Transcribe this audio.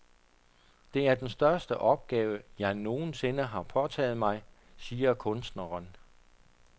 Det er den største opgave, jeg nogensinde har påtaget mig, siger kunstneren.